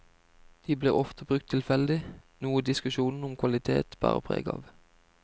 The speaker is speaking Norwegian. De blir ofte brukt tilfeldig, noe diskusjonene om kvalitet bærer preg av.